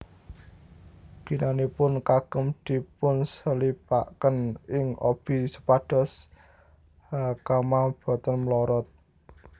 Ginanipun kagem dipunselipaken ing obi supados hakama boten mlorot